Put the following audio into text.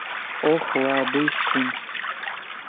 охлабыстин